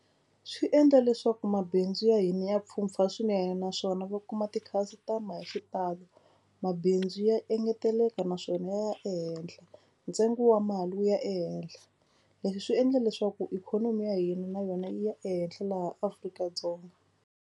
Swi endla leswaku mabindzu ya hina ya pfhumpfha swinene naswona va kuma ti-customer hi xitalo. Mabindzu ya engeteleka naswona ya ehenhla ntsengo wa mali wu ya ehehla. Leswi swi endla leswaku ikhonomi ya hina na yona yi ya ehenhla laha Afrika-Dzonga.